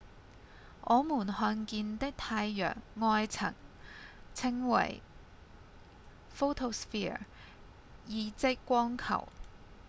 我們看見的太陽外層稱為「photosphere」意即「光球」